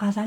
گر